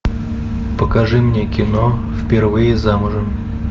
покажи мне кино впервые замужем